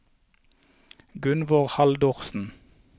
Gunnvor Haldorsen